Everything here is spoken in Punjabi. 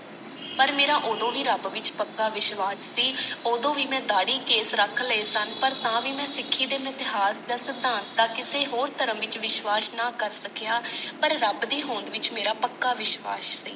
ਪਰ ਮੇਰਾ ਓਦੋ ਵੀ ਰੱਬ ਵਿਚ ਪੱਕਾ ਵਿਸ਼ਵਾਸ ਸੀ ਓਦੋਂ ਵੀ ਮੈਂ ਦਾੜੀ ਕੇਸ਼ ਰੱਖ ਲਏ ਸਨ ਪਰ ਤਾਂ ਵੀ ਮੈਂ ਸਿੱਖੀ ਦੇ ਮਿਥਿਆਸ ਜਾਂ ਸਿਧਾਂਤ ਦਾ ਕਿਸੇ ਹੋਰ ਧਰਮ ਵਿਚ ਵਿਸ਼ਵਾਸ ਨਾ ਕਰ ਸਕਿਆ, ਪਰ ਰੱਬ ਦੀ ਹੋਂਦ ਵਿਚ ਮੇਰਾ ਪੱਕਾ ਵਿਸ਼ਵਾਸ ਸੀ।